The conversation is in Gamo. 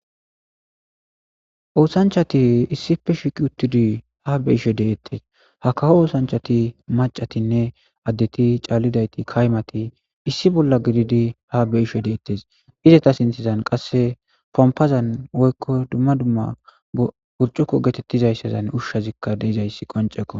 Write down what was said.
oosanchchati issife shiiqi uttudi ha be'ashshe de'etees ha kawo oosanchati macatinne addeti caallidayti kaymati issi bolla gididi ha be'ishshe detees izetta sinththezan qasse pompazan woykko dumma dumma burcuko geetettizayssazan ushshazikka de'izayssi qoncekko